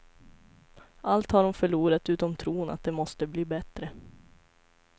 Allt har hon förlorat utom tron att det måste bli bättre.